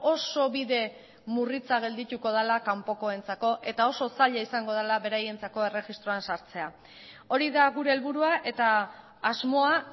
oso bide murritza geldituko dela kanpokoentzako eta oso zaila izango dela beraientzako erregistroan sartzea hori da gure helburua eta asmoa